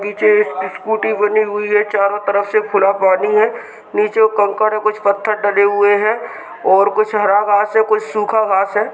नीचे एक स्कूटी बनी हुई है चारों तरफ से खुला पानी है नीचे कंकड़ है कुछ पत्थर डले हुए है और कुछ हरा घास है कुछ सुखा घास है।